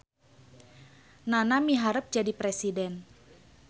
Nana miharep jadi presiden